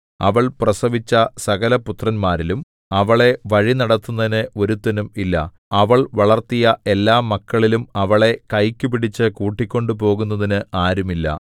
അവൾ പ്രസവിച്ച സകലപുത്രന്മാരിലും അവളെ വഴിനടത്തുന്നതിന് ഒരുത്തനും ഇല്ല അവൾ വളർത്തിയ എല്ലാമക്കളിലും അവളെ കൈക്കു പിടിച്ചു കൂട്ടിക്കൊണ്ടുപോകുന്നതിന് ആരുമില്ല